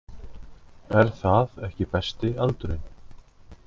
Er það ekki besti aldurinn?